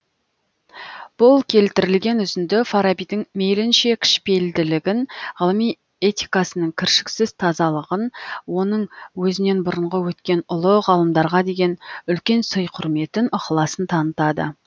бұл келтірілген үзінді фарабидің мейлінше кішіпейілділігін ғылыми этикасының кіршіксіз тазалығын оның өзінен бұрынғы өткен ұлы ғалымдарға деген үлкен сый құрметін ықыласын танытады